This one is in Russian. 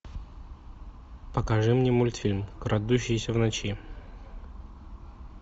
покажи мне мультфильм крадущийся в ночи